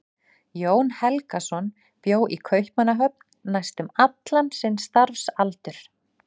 Jón Helgason bjó í Kaupmannahöfn næstum allan sinn starfsaldur.